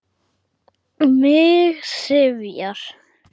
Mig syfjar.